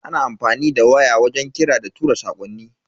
Ana amfani da waya wajen kira da tura sakonni.